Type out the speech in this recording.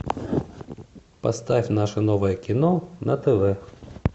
поставь наше новое кино на тв